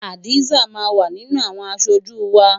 Hadza máa wà nínú àwọn aṣojú wa.